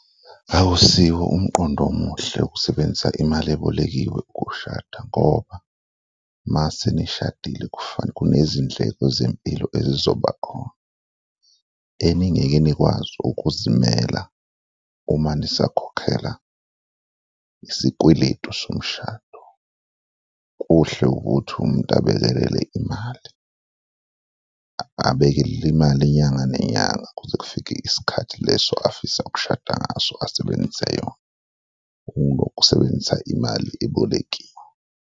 Akusiwo umqondo omuhle ukusebenzisa imali ebolekiwe ukushada ngoba mase nishadile kunezindleko zempilo ezizoba khona eninginike nikwazi ukuzimela uma nisakhokhela isikweletu somshado. Kuhle ukuthi umuntu abekelele imali, abekelele imali inyanga nenyanga kuze kufike isikhathi leso afisa ukushada ngaso asebenzise yona kuno kusebenzisa imali ebolekiwe.